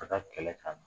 Ka taa kɛlɛ ka